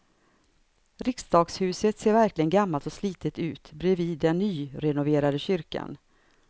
Riksdagshuset ser verkligen gammalt och slitet ut bredvid den nyrenoverade kyrkan.